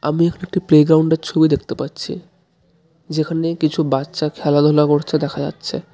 আমি এখানে একটি প্লেগ্রাউন্ডের ছবি দেখতে পাচ্ছি যেখানে কিছু বাচ্চা খেলাধুলা করতে দেখা যাচ্ছে.